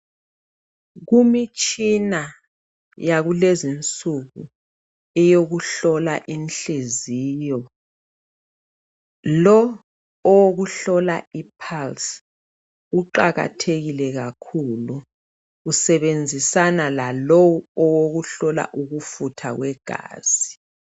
Kumitshina yakulezinsuku eyokuhlola inhliziyo, lo owokuhlola ipulse uqakathekile kakhulu usebenzisana lalowu owokuhlola ukufutha kwegazi.